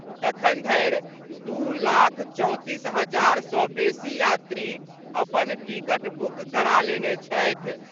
अखन धरि दू लाख चौंतीस हजार सँ बेसी यात्री अपन टिकट बुक करा लेने छथि।